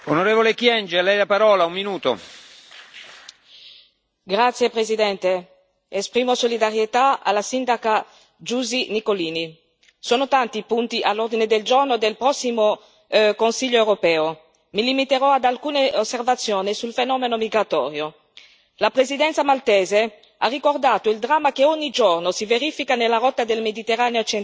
Signor Presidente, onorevoli colleghi, esprimo solidarietà alla sindaca Giusi Nicolini. Sono tanti i punti all'ordine del giorno del prossimo Consiglio europeo. Mi limiterò ad alcune osservazioni sul fenomeno migratorio. La Presidenza maltese ha ricordato il dramma che ogni giorno si verifica nella rotta del Mediterraneo centrale